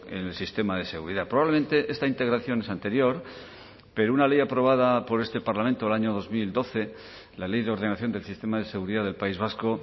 en el sistema de seguridad probablemente esta integración es anterior pero una ley aprobada por este parlamento el año dos mil doce la ley de ordenación del sistema de seguridad del país vasco